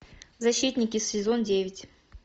защитники сезон девять